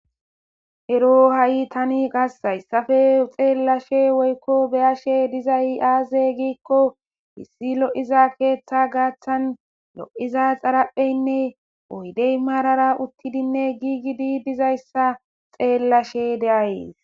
ero ha7i tani qassayssafe xeellashe woykko beyashe diza i7aaze giikko bissi lo7iza keeththa gaaththan lo7iza xarapheynne oydey maarara uttidinne giigidii dizayssa xeellashe deayes